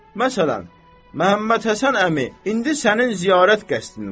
Məsələn, Məhəmməd Həsən əmi, indi sənin ziyarət qəsdin var.